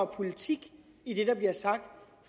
politik i det der bliver sagt af